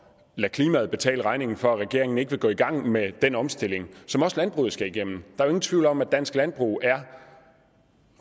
klimaet betale regningen for at regeringen ikke vil gå i gang med den omstilling som også landbruget skal igennem der er ingen tvivl om at dansk landbrug er